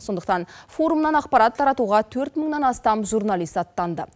сондықтан форумнан ақпарат таратуға төрт мыңнан астам журналист аттанды